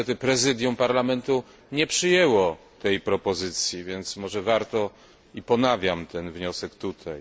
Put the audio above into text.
Niestety Prezydium Parlamentu nie przyjęło tej propozycji, ale może warto. Ponawiam ten wniosek tutaj.